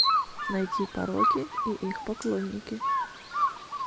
найти пороки и их поклонники